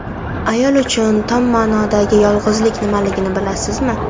Ayol uchun tom ma’nodagi yolg‘izlik nimaligini bilasizmi?